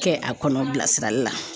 Kɛ a kɔnɔ bilasirali la.